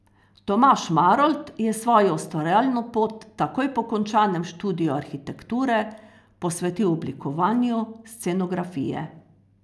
Tomaž Marolt je svojo ustvarjalno pot takoj po končanem študiju arhitekture posvetil oblikovanju scenografije.